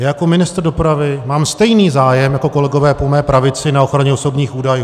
Já jako ministr dopravy mám stejný zájem jako kolegové po mé pravici na ochraně osobních údajů.